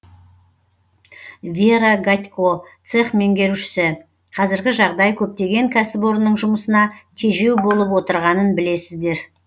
вера гатько цех меңгерушісі қазіргі жағдай көптеген кәсіпорынның жұмысына тежеу болып отырғанын білесіздер